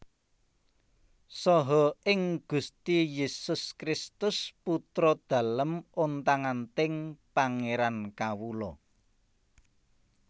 Saha ing Gusti Yesus Kristus Putra Dalem ontang anting Pangeran kawula